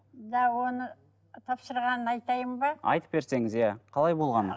да оны тапсырғанын айтайын ба айтып берсеңіз иә қалай болған